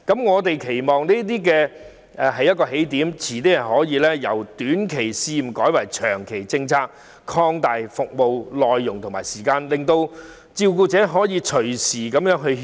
我們期望以此為起點，將來可以把短期試驗計劃納入長期政策，並擴大服務內容和加長服務時間，方便照顧者隨時入內歇息。